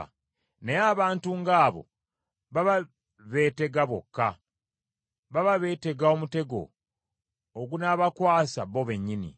naye abantu ng’abo baba beetega bokka, baba beetega omutego ogunaabakwasa bo bennyini.